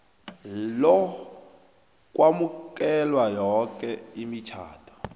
lokwamukela yoke imitjhado